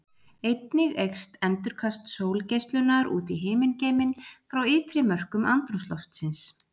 Einnig eykst endurkast sólgeislunar út í himingeiminn frá ytri mörkum andrúmsloftsins.